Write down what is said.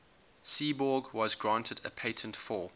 seaborg was granted a patent for